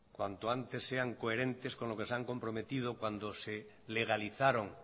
cuanto antes sean coherentes con lo que se han comprometido cuando se legalizaron